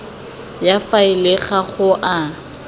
ya faele ga go a